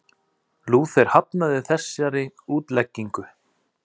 Lúther hafnaði þessari útleggingu.